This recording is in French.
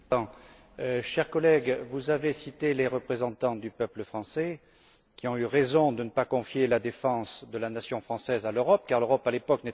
Cher collègue, vous avez cité les représentants du peuple français qui ont eu raison de ne pas confier la défense de la nation française à l'Europe car l'Europe, à l'époque, n'était pas prête.